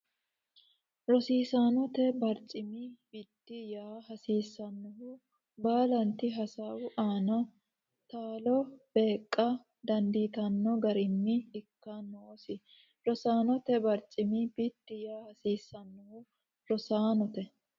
Rosaanote barcimi biddi yaa hasiissannohu baalanti hasaawu aana taalo beeqqa dandiitanno garinni ikka noosi Rosaanote barcimi biddi yaa hasiissannohu Rosaanote.